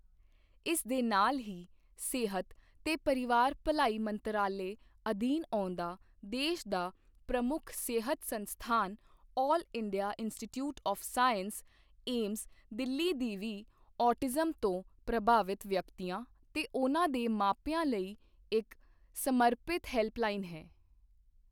ਇਸ ਦੇ ਨਾਲ ਹੀ, ਸਿਹਤ ਤੇ ਪਰਿਵਾਰ ਭਲਾਈ ਮੰਤਰਾਲੇ ਅਧੀਨ ਆਉਂਦਾ ਦੇਸ਼ ਦਾ ਪ੍ਰਮੁੱਖ ਸਿਹਤ ਸੰਸਥਾਨ all India institute of medical sciences AIIMS, Delhi ਦੀ ਵੀ ਔਟਿਜ਼ਮ ਤੋਂ ਪ੍ਰਭਾਵਿਤ ਵਿਅਕਤੀਆਂ ਤੇ ਉਨ੍ਹਾਂ ਦੇ ਮਾਪਿਆਂ ਲਈ ਇੱਕ ਸਮਰਪਿਤ ਹੈਲਪਲਾਈਨ ਹੈ।